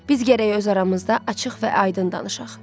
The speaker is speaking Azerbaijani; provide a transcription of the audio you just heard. Biz gərək öz aramızda açıq və aydın danışaq.